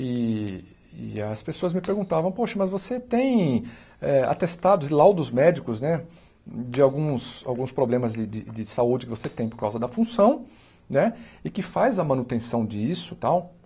E e as pessoas me perguntavam, poxa, mas você tem eh atestados e laudos médicos, né, de alguns alguns problemas de de de saúde que você tem por causa da função, né, e que faz a manutenção disso e tal.